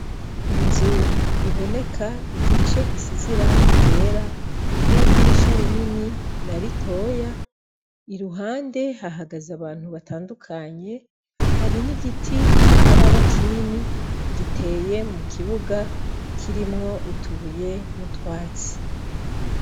Inz' ibonek' igice gisiz' irangi ryera n' idirisha rinini na ritoya, iruhande hahagaz' abantu batandukanye, hari n' igiti kitaraba kinini giteye mu kibuga kirimw' utubuye n' utwatsi.